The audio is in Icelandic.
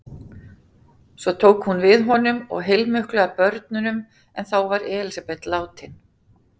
Svo tók hún við honum og heilmiklu af börnum en þá var Elísabet látin.